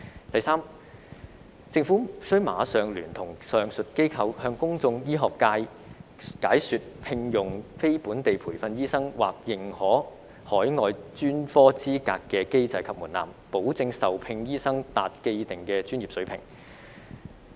第三，政府須馬上聯同上述機構，向公眾、醫學界解說聘用非本地培訓醫生或認可海外專科資格的機制及門檻，保證受聘醫生達既定的專業水平。